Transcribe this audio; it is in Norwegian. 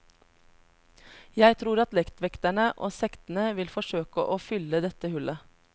Jeg tror at lettvekterne og sektene vil forsøke å fylle dette hullet.